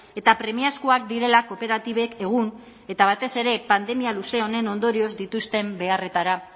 eta premiazkoak direla kooperatibek egun eta batez ere pandemia luze honen ondorioz dituzten beharretara